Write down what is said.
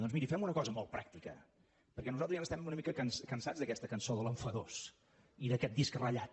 doncs miri fem una cosa molt pràctica perquè nosaltres ja n’estem una mica cansats d’aquesta cançó de l’enfadós i d’aquest disc ratllat